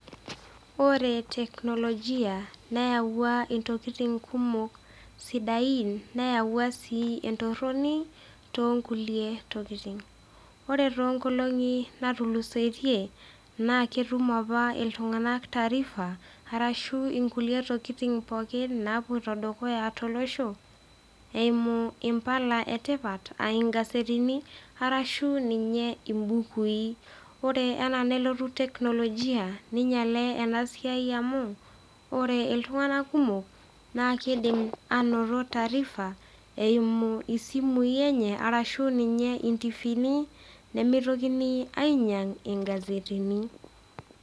Ore teknolojia neyawua intokitin kumok sidain neyawua sii entoroni toonkulie tokitin. Ore toonkolong'i naatulusoitie, naa ketum apa iltung'ana taarifa arashu inkulie tokitin pooki nawoita dukuya tolosho eimu impala etipa a ingazetini arashu ninye imbukui. Ore anaa nelotu teknolojia neinyale ena siai amu ore iltung'ana kumok naa keidim ainoto taarifa eimu isimui enye arashu ninye intivini nemeitokini ainyang ingazetini.